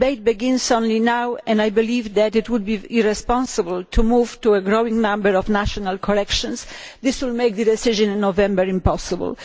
The debate begins only now, and I believe that it would be irresponsible to move to a growing number of national corrections. This will make the decision in November impossible.